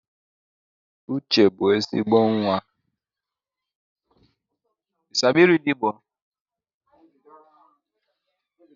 Uche bụ ezigbo nwa